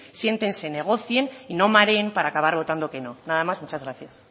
siéntense negocien y no mareen para acabar votando que no nada más muchas gracias